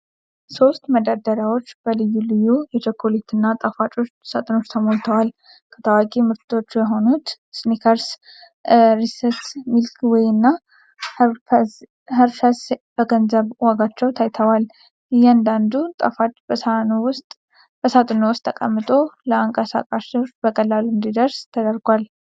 ሦስት መደርደሪያዎች በልዩ ልዩ የቸኮሌትና ጣፋጮች ሳጥኖች ተሞልተዋል። ከታዋቂ ምርቶች የሆኑት ስኒከርስ፣ ሪስስ፣ ሚልኪ ዌይ እና ኸርሽስ በገንዘብ ዋጋቸው ታይተዋል። እያንዳንዱ ጣፋጭ በሳጥኑ ውስጥ ተቀምጦ ለአንቀሳቃሾች በቀላሉ እንዲደረስ ተደርጓል።